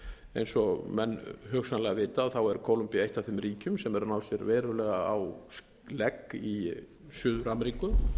eins og menn hugsanlega vita er kólumbía eitt f þeim ríkjum sem hefur hafa náð sér verulega á legg í suður ameríku